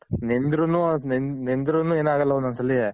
ನೆಂದ್ರು ನು ಅದ್ ನೆಂದ್ರು ನು ಏನಾಗಲ್ಲ ಒಂದೊಂದ್ ಸಲಿ.